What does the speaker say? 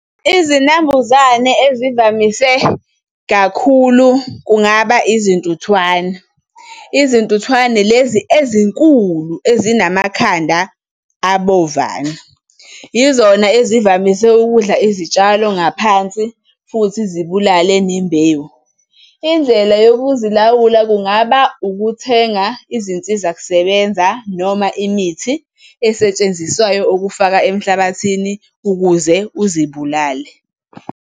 Izinambuzane ezivamise kakhulu kungaba izintuthwane, izintuthwane lezi ezinkulu ezinamakhanda abovana. Yizona ezivamise ukudla izitshalo ngaphansi, futhi zibulale nembewu. Indlela yokuzilawula kungaba ukuthenga izinsizakusebenza noma imithi esetshenziswayo ukufaka emhlabathini ukuze uzibulale.